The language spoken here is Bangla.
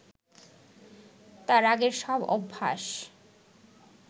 তার আগের সব অভ্যাস